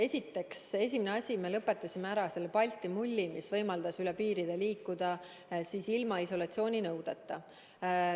Esiteks, esimene asi: me lõpetasime ära Balti mulli, mis võimaldas üle piiri liikuda ilma isolatsiooninõudeta.